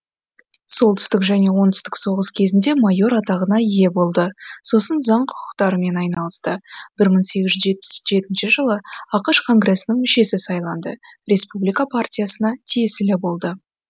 солтүстік және оңтүстік соғыс кезінде майор атағына ие болды сосын заң құқықтарымен айналысты бір мың сегіз жүз жетпіс жетінші жылы ақш конгресінің мүшесі сайланды республика партиясына тиесілі болды